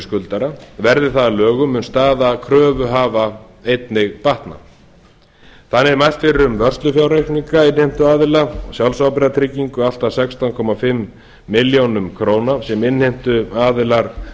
skuldara verði það að lögum mun staða kröfuhafa einnig batna þannig er mælt fyrir um vörslufjárreikninga innheimtuaðila sjálfsábyrgðartryggingu allt að sextán og hálfa milljón króna sem innheimtuaðilar